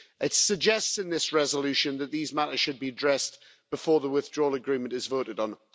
It suggests in this resolution that these matters should be addressed before the Withdrawal Agreement is voted on.